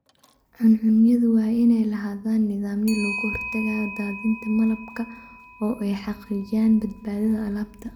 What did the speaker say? Cuncunyadu waa inay lahaadaan nidaamyo looga hortagayo daadinta malabka oo ay xaqiijiyaan badbaadada alaabta.